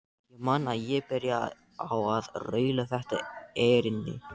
Ég man að ég byrjaði á að raula þetta erindi: